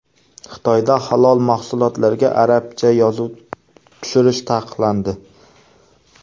Xitoyda halol mahsulotlarga arabcha yozuv tushirish taqiqlandi.